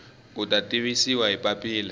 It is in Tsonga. u ta tivisiwa hi papila